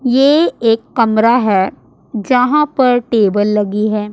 ये एक कमरा है जहां पर टेबल लगी है।